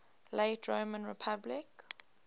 late roman republic